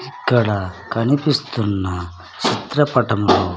ఇక్కడ కనిపిస్తున్న చిత్రపటంలో--